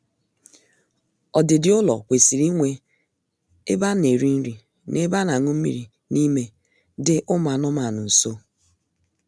Ọdịdị ụlọ kwesịrị inwe ebe a na-eri nri na ebe a na-añụ mmiri n'ime dị ụmụ anụmaanụ nso